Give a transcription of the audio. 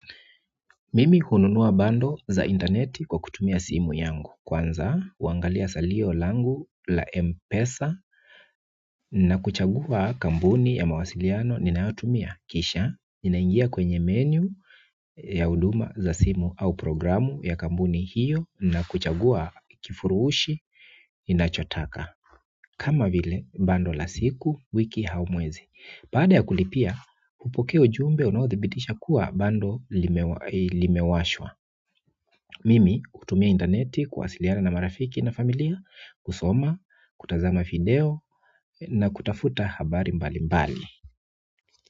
Mimi hununua bundle za interneti kwa kutumia simu yangu kwanza, huangalia salio langu la M-Pesa na kuchagua kampuni ya mawasiliano ninayotumia kisha ninaingia kwenye menu ya huduma za simu au programu ya kampuni hiyo na kuchagua kifuruhushi ninacho taka kama vile bundle la siku wiki au mwezi baada ya kulipia, hupokea ujumbe unaothibitisha kuwa bundle limewashwa mimi hutumia interneti kuwasiliana na marafiki na familia kusoma, kutazama video na kutafuta habari mbali mbali.